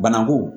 Bananku